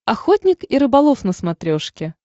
охотник и рыболов на смотрешке